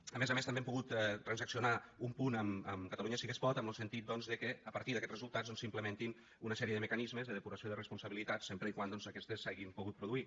a més a més també hem pogut transaccionar un punt amb catalunya sí que es pot en lo sentit doncs de que a partir d’aquests resultats doncs s’implementin una sèrie de mecanismes de depuració de responsabilitats sempre que aquestes s’hagin pogut produir